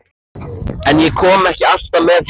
En ég kom ekki alltaf með heim.